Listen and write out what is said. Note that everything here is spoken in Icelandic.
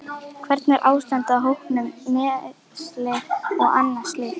Hvernig er ástandið á hópnum, meiðsli og annað slíkt?